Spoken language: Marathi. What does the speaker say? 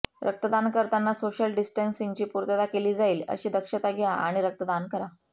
रक्तदान करताना सोशल डिस्टन्सिंगची पूर्तता केली जाईल अशी दक्षता घ्या आणि रक्तदान करा